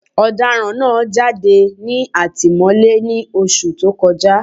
Ọ̀daràn náà jáde ní ìtìmọ́lé ní Oṣù tó kọjá